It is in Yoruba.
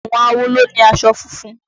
Àwọn awo ló ni aṣọ funfun.